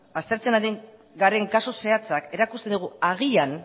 aztertzen ari garen kasu zehatzak erakusten digu agian